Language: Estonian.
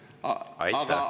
Aitäh, hea kolleeg!